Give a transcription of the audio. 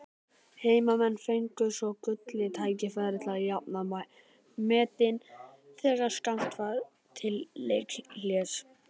Heimamenn fengu svo gullið tækifæri til að jafna metin þegar skammt var til leikhlés.